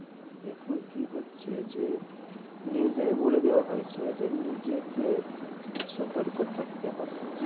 এখন কি হচ্ছে? যে news এই বলে দেওয়া হয়েছে যে নিজেকে সতর্ক থাকতে হবে।